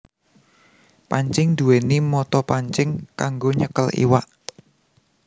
Pancing nduwèni mata pancing kanggo nyekel iwak